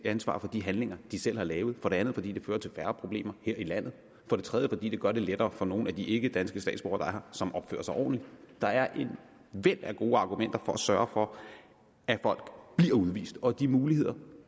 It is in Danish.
ansvar for de handlinger de selv har lavet for det andet fordi det fører til færre problemer her i landet for det tredje fordi det gør det lettere for nogle af de ikkedanske statsborgere som opfører sig ordentligt der er et væld af gode argumenter for at sørge for at folk bliver udvist og de muligheder